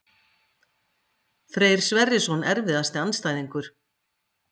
Freyr Sverrisson Erfiðasti andstæðingur?